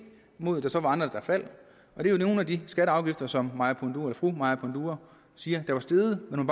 imod at der så var andre der faldt det er nogle af de skatter og afgifter som fru maja panduro siger er steget men hun